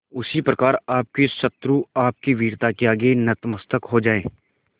उसी प्रकार आपके शत्रु आपकी वीरता के आगे नतमस्तक हो जाएं